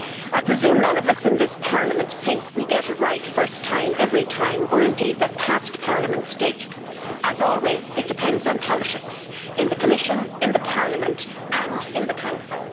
I presume none of us in this Parliament think we get it right first time, every time, or indeed that past Parliaments did. As always it depends on politics in the Commission, in Parliament and in the Council.